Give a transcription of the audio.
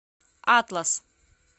атлас